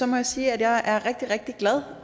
må jeg sige at jeg er rigtig rigtig glad